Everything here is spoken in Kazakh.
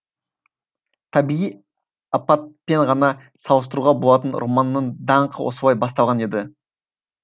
табиғи апатпен ғана салыстыруға болатын романның даңқы осылай басталған еді